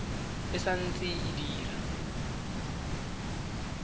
e sa ntse e dira